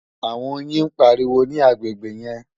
àwọn oyin ń pariwo ní agbègbè yẹn